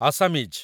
Assamese